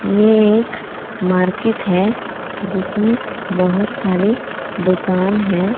ये एक मार्केट है जिसमें बहोत सारी दुकान है।